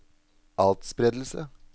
atspredelse